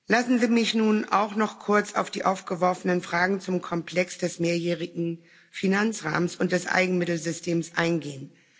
Lassen Sie mich nun auch noch kurz auf die aufgeworfenen Fragen zum Komplex des mehrjährigen Finanzrahmens und des Eigenmittelsystems eingehen.